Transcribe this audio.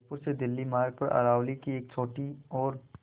जयपुर से दिल्ली मार्ग पर अरावली की एक छोटी और